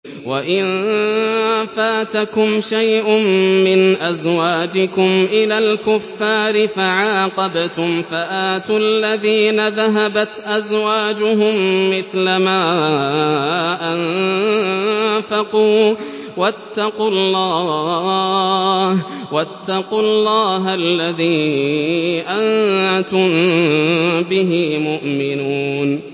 وَإِن فَاتَكُمْ شَيْءٌ مِّنْ أَزْوَاجِكُمْ إِلَى الْكُفَّارِ فَعَاقَبْتُمْ فَآتُوا الَّذِينَ ذَهَبَتْ أَزْوَاجُهُم مِّثْلَ مَا أَنفَقُوا ۚ وَاتَّقُوا اللَّهَ الَّذِي أَنتُم بِهِ مُؤْمِنُونَ